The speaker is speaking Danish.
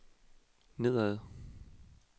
nedad